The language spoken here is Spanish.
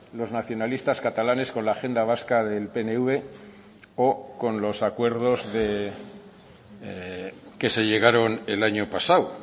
los nacionalistas catalanes con la agenda vasca del pnv o con los acuerdos que se llegaron el año pasado